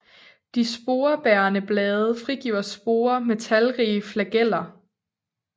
De sporebærende blade frigiver sporer med talrige flageller